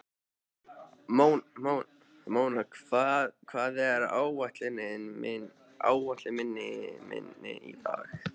Móna, hvað er á áætluninni minni í dag?